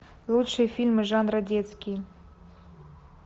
лучшие фильмы жанра детский